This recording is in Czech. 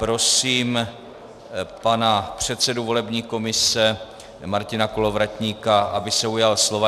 Prosím pana předsedu volební komise Martina Kolovratníka, aby se ujal slova.